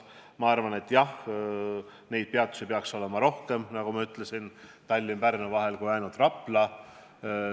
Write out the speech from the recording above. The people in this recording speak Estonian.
Ma arvan, et jah, neid peatusi peaks Tallinna ja Pärnu vahel olema rohkem kui ainult Rapla.